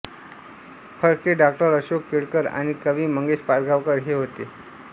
फडके डॉ अशोक केळकर आणि कवी मंगेश पाडगावकर हे होते